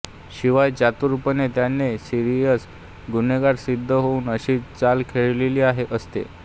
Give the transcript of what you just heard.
शिवाय चतुरपणे त्याने सिरियस गुन्हेगार सिद्ध होईल अशी चाल खेळलेली असते